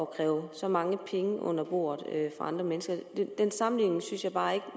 kræve så mange penge under bordet fra andre mennesker den sammenligning synes jeg bare